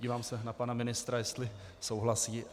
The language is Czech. Dívám se na pana ministra, jestli souhlasí.